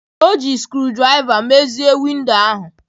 O ji sikruuokwomotodozie windo ahụ.